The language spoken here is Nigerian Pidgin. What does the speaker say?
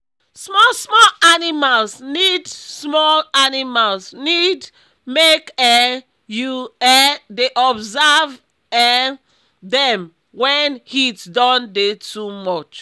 small small animals need small animals need make um you um dey observe um dem wen heat don dey too much